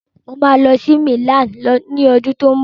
Mà á lọ sí Milan ni ọdún tó ń bọ̀.